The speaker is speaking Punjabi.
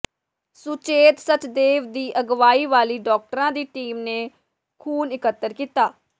ਸੁਚੇਤ ਸਚਦੇਵ ਦੀ ਅਗਵਾਈ ਵਾਲੀ ਡਾਕਟਰਾਂ ਦੀ ਟੀਮ ਨੇ ਖੂਨ ਇਕੱਤਰ ਕੀਤਾ